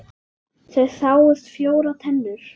Það sáust fjórar tennur.